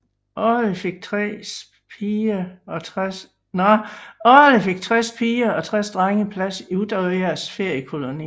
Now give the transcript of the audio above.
Årligt fik tres piger og tres drenge plads i Utøyas feriekoloni